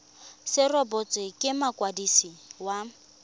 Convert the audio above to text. se rebotswe ke mokwadisi wa